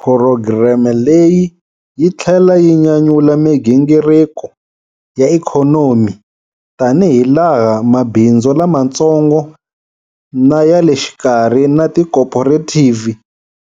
Phurogireme leyi yi tlhela yi nyanyula migingiriko ya ikhonomi tanihilaha mabindzu lamantsongo na ya le xikarhi na tikhophorethivhi